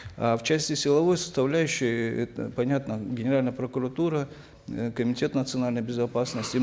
э в части силовой составляющей это понятно генеральная прокуратура э комитет национальной безопасности